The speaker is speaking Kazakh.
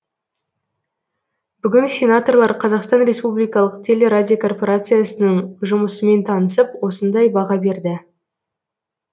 бүгін сенаторлар қазақстан республикалық телерадиокорпорациясының жұмысымен танысып осындай баға берді